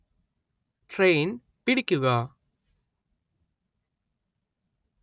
train‍ പിടിക്കുക